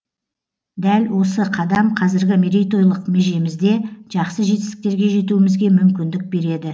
дәл осы қадам қазіргі мерейтойлық межемізде жақсы жетістіктерге жетуімізге мүмкіндік береді